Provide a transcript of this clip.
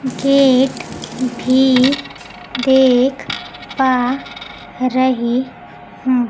Gate भी देख पा रही हूं।